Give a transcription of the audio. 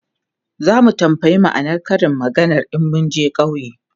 zamu tambaya ma'anar Karin maganar in munje ƙauye